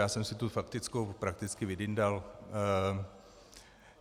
Já jsem si tu faktickou prakticky vydyndal.